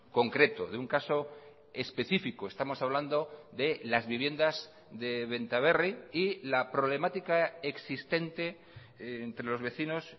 concreto de un caso específico estamos hablando de las viviendas de benta berri y la problemática existente entre los vecinos